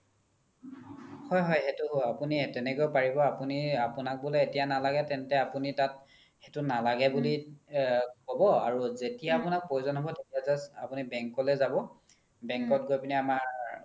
হয় হয় সেইতো হয় আপোনি তেনেকেও পাৰিব আপোনি আপোনাক বুলে এতিয়া নালাগে তেন্তে আপোনি তাত সেইতো নালাগে বুলি ক্'ব যেতিয়া মানে প্ৰয়োজন হ্'ব আপোনি just আপোনি bank লে যাব bank ত গৈ পিনে আমাৰ